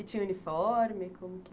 E tinha uniforme? como que